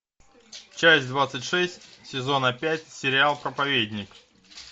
часть двадцать шесть сезона пять сериал проповедник